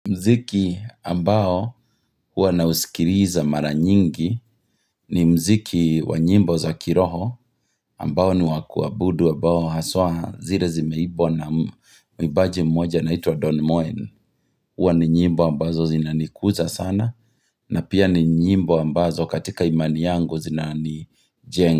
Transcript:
Muziki ambao huwa nausikiliza mara nyingi ni muziki wa nyimbo za kiroho ambao ni wa kuabudu ambao haswa zile zimeimbwa na mwimbaji mmoja na anaitwa Don Moen. Huwa ni nyimbo ambazo zinanikuza sana na pia ni nyimbo ambazo katika imani yangu zinanijenga.